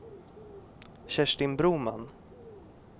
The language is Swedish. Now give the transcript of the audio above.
Kerstin Broman